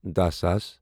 دہَ ساس